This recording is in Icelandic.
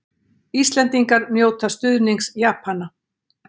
Íslendingar njóta stuðnings Japana